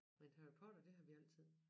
Men Harry Potter det har vi altid